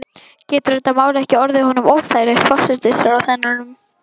Getur þetta mál ekki orðið honum óþægilegt, forsætisráðherranum?